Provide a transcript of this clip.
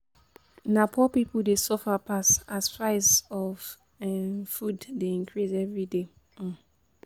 Na poor pipo dey suffer pass as price of um food dey increase everyday. um